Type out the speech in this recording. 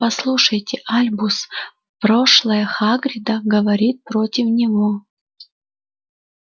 послушайте альбус прошлое хагрида говорит против него